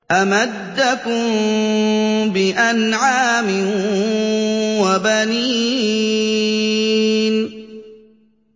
أَمَدَّكُم بِأَنْعَامٍ وَبَنِينَ